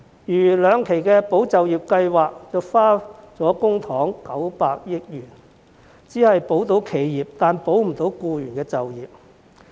如兩期的"保就業"計劃共耗用公帑900億元，卻只保了企業而保不了僱員就業。